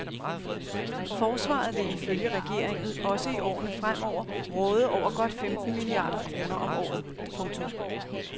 Forsvaret vil ifølge regeringen også i årene fremover råde over godt femten milliarder kroner om året. punktum